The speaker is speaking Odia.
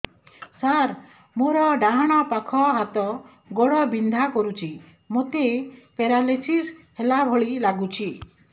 ସାର ମୋର ଡାହାଣ ପାଖ ହାତ ଗୋଡ଼ ବିନ୍ଧା କରୁଛି ମୋତେ ପେରାଲିଶିଶ ହେଲା ଭଳି ଲାଗୁଛି